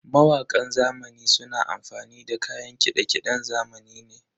Mawakan zamani suna amfani ne da kayan kiɗe-kiɗen zamani ne.